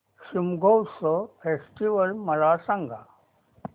Shigmotsav festival मला सांग